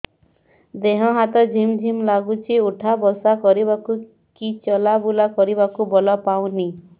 ଦେହେ ହାତ ଝିମ୍ ଝିମ୍ ଲାଗୁଚି ଉଠା ବସା କରିବାକୁ କି ଚଲା ବୁଲା କରିବାକୁ ବଳ ପାଉନି